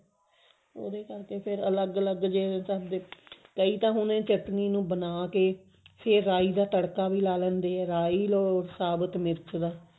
ਉਹਦੇ ਕਰਕੇ ਫ਼ੇਰ ਅਲੱਗ ਅਲੱਗ ਕਈ ਤਾਂ ਹੁਣ ਇਹ ਚਟਨੀ ਨੂੰ ਬਣਾ ਕੇ ਫ਼ੇਰ ਰਾਈ ਦਾ ਤੜਕਾ ਵੀ ਲਾ ਲੈਂਦੇ ਆ ਰਾਈ or ਸਾਬਤ ਮਿਰਚ ਦਾ